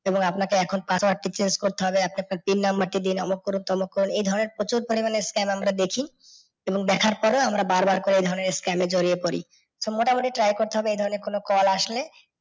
এবং আপনাকে এখন password টি change করতে হবে। আপনি আপনার pin number টি দিন, অমুক করুন, তমুক করুন এ ধরণের প্রচুর পরিমাণে scam আমরা দেখি এবং দেখার পরে আমরা বারবার করে এ ধরণের scam এ জড়িয়ে পরি। তো মোটামুটি try করতে হবে েই ধরণের কোনো কল আসলে